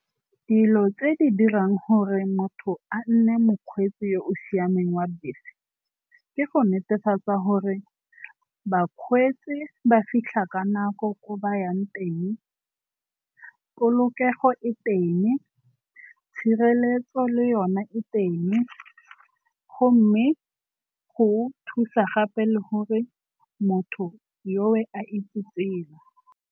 Dilo tse di dirang gore motho a nne mokgweetsi yo o siameng wa bese ke go netefatsa gore bakgweetsi ba fitlha ka nako ko ba yang teng, polokego e teng, tshireletso le yone e teng gomme go thusa gape le gore motho yo a itse tsela.